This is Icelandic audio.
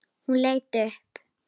Hún leit upp.